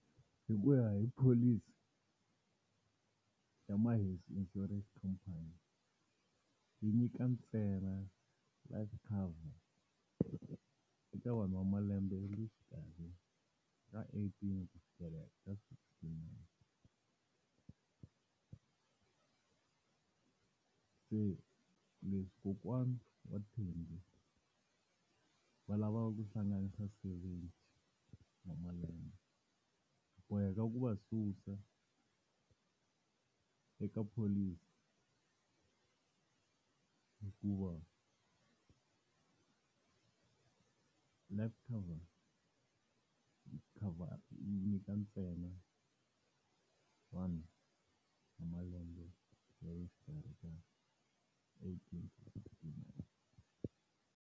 Hikuya hi pholisi ya Maheso Insurance Company yi nyika ntsena life cover eka vanhu wa malembe ya le xikarhi ka eighteen ku fikela ka sixtynine. Se leswi kokwana wa Thembi va lavaku kuhlanganisa seventy wa malembe, hi boheka ku va susa eka pholisi hikuva life cover yi cover yi nyika ntsena vanhu va malembe ya le xikarhi ka eighteen na sixtynine.